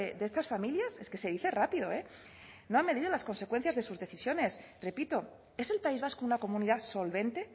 de estas familias es que se dice rápido eh no han medido las consecuencias de sus decisiones pepito es el país vasco una comunidad solvente